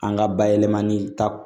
An ka bayɛlɛmani ta